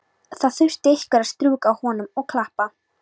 Það þurfti einhver að strjúka honum og klappa.